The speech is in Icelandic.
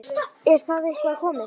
Er það eitthvað komið?